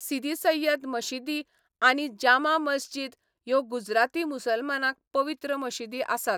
सिदी सैय्यद मशिदी आनी जामा मस्जिद ह्यो गुजराती मुसलमानांक पवित्र मशिदी आसात.